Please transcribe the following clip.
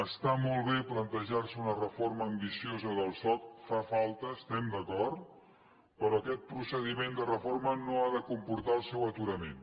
està molt bé plantejar·se una reforma ambiciosa del soc fa falta hi estem d’acord però aquest procediment de reforma no ha de comportar el seu aturament